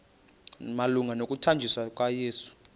malunga nokuthanjiswa kukayesu